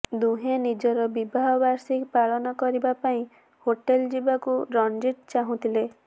ଦୁହେଁ ନିଜର ବିବାହ ବାର୍ଷିକୀ ପାଳନ କରିବା ପାଇଁ ହୋଟେଲ ଯିବାକୁ ରଣଜିତ ଚାହୁଁଥିଲେ